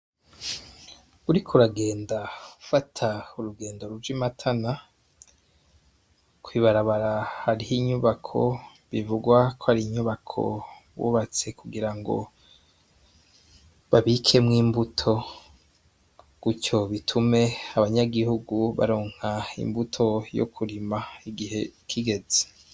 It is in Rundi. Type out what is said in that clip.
Uri ko ragenda fata urugendo ruja i matana kwibarabara hariho inyubako bivugwa ko ari inyubako bubatse kugira ngo babikemwo imbuto gutyo bitume abanyagihugu baronka imbuto yo kurima igihe kigeze.